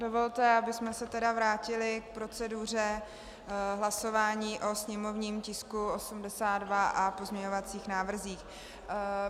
Dovolte, abychom se tedy vrátili k proceduře hlasování o sněmovním tisku 82 a pozměňovacích návrzích.